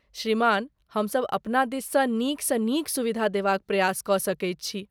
श्रीमान, हमसब अपना दिससँ नीकसँ नीक सुविधा देबाक प्रयास कऽ सकैत छी।